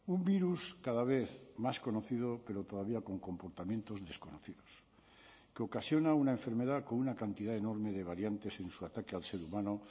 un virus cada vez más conocido pero todavía con comportamientos desconocidos que ocasiona una enfermedad con una cantidad enorme de variantes en su ataque al ser humano